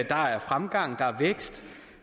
der er fremgang der